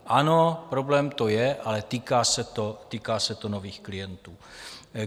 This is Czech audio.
Ano, problém to je, ale týká se to nových klientů.